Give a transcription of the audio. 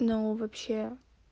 но вообще